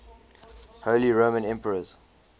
holy roman emperors